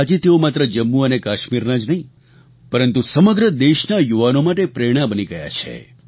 આજે તેઓ માત્ર જમ્મુ અને કાશ્મીરના જ નહીં પરંતુ સમગ્ર દેશના યુવાનો માટે પ્રેરણા બની ગયા છે